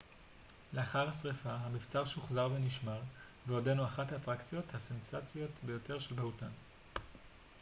לאחר השריפה המבצר שוחזר ונשמר ועודנו אחת האטרקציות הסנסציוניות ביותר של בהוטן